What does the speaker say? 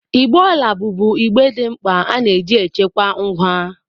Igbe ọla bụbụ igbe dị mkpa ana eji chekwaa ngwa.